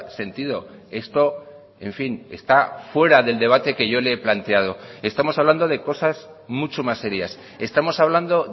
sentido esto en fin está fuera del debate que yo le he planteado estamos hablando de cosas mucho más serias estamos hablando